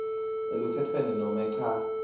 elukhetfweni nobe cha